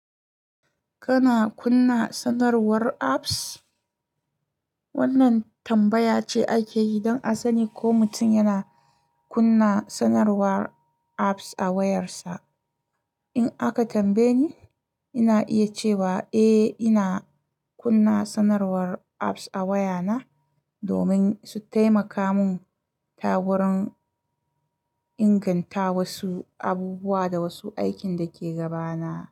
Kana kunna sanarwar apps? Wannan tambaya ce ake yi don a sani ko mutum yana kunna sanarwar apps a wayarsa. In aka tambaye ni, ina iya cewa eh, ina kunna sanarwar apps a wayana domin su taimaka mun ta wurin inganta wasu abubuwa da wasu aikin da ke gaba na.